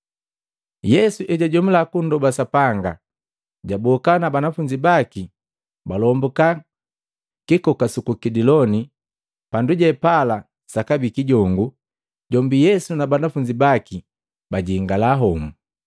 Yesu ejajomula kundoba Sapanga, jaboka na banafunzi baki balombuka kikoka suku Kidiloni. Pandupe pala sakabii kijongu, jombi Yesu na banafunzi baki bajingala homu.